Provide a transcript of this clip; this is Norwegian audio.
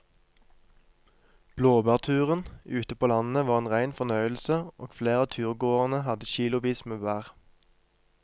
Blåbærturen ute på landet var en rein fornøyelse og flere av turgåerene hadde kilosvis med bær.